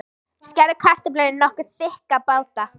Skerðu kartöflurnar í nokkuð þykka báta.